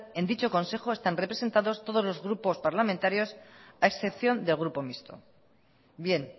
en dicho consejo están representados todos los grupos parlamentario a excepción del grupo mixto bien